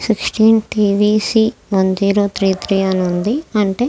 Sick టీన్ T V C one zero three three అని ఉంది.